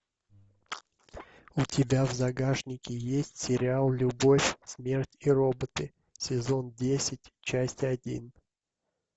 у тебя в загашнике есть сериал любовь смерть и роботы сезон десять часть один